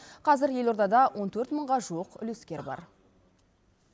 қазір елордада он төрт мыңға жуық үлескер бар